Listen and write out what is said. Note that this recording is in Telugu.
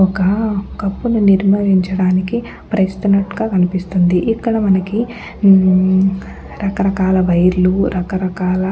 ఒక కప్పును నిర్వహించడానికి ప్రయత్నిస్తున్నట్టుగా కనిపిస్తుంది. ఇక్కడ మనకి రకరకాల వైర్ లు రకరకాల --